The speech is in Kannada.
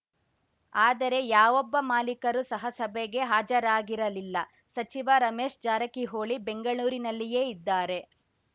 ಆದರೆ ಯಾವೊಬ್ಬ ಮಾಲಿಕರು ಸಹ ಸಭೆಗೆ ಹಾಜರಾಗಿರಲಿಲ್ಲ ಸಚಿವ ರಮೇಶ್‌ ಜಾರಕಿಹೊಳಿ ಬೆಂಗಳೂರಿನಲ್ಲಿಯೇ ಇದ್ದಾರೆ